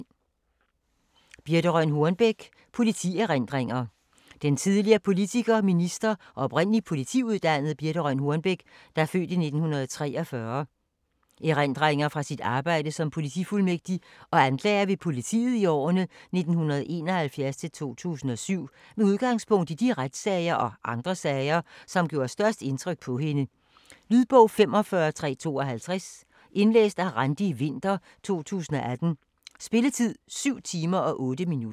Hornbech, Birthe Rønn: Politierindringer Den tidligere politiker, minister og oprindelig politiuddannede Birthe Rønn Hornbechs (f. 1943) erindringer fra sit arbejde som politifuldmægtig og anklager ved politiet i årene 1971-2007, med udgangspunkt i de retssager og andre sager, som gjorde størst indtryk på hende. Lydbog 45352 Indlæst af Randi Winther, 2018. Spilletid: 7 timer, 8 minutter.